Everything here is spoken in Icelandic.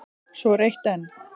Svo er eitt enn.